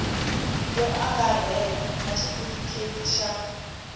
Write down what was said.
yo angarhela na xitifiketi xa